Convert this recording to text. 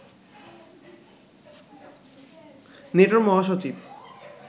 নেটোর মহাসচিব